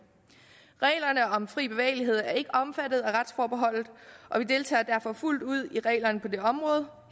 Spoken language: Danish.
reglerne om fri bevægelighed er ikke omfattet af retsforbeholdet og vi deltager derfor fuldt ud på det område